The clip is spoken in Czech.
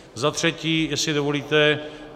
Za třetí, jestli dovolíte.